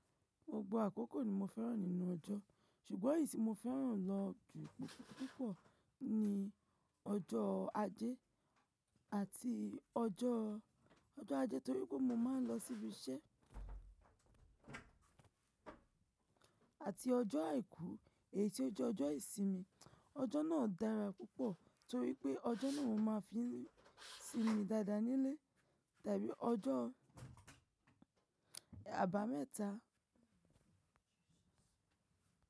Gbogbo àkókò ni mo fẹ́ràn nínú ọjọ́, ṣùgbọ́n èyí tí mo fẹ́ràn lọ jù púpọ̀ púpọ̀ ni ọjọ́ Ajé àti ọjọ́, ọjọ́ Ajé torí pé mo máa ń lọ síbi iṣẹ́ àti ọjọ́ Àìkú èyí tí ó jẹ́ ọjọ́ ìsinmi. Ọjọ́ náà dára púpọ̀ torí pé ọjọ́ náà mo máa fi ń sinmi dáadáa nílé tàbí ọjọ́ Àbámẹ́ta.